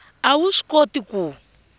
a wu swi koti ku